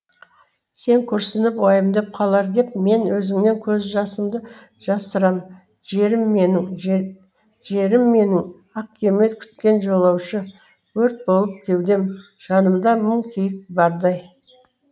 сен күрсініп уайымдап қалар деп мен өзіңнен көз жасымды жасырам жерім менің жерім менің ақ кеме күткен жолаушы өрт болып кеудем жанымда мың күйік бардай